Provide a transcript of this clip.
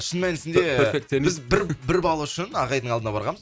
шын мәнісінде біз бір бір балл үшін ағайдың алдына барғанбыз